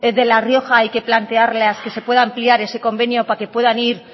de la rioja hay que plantearlas que se puede ampliar ese convenio para que puedan ir